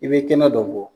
I bɛ kɛnɛ dɔ bɔ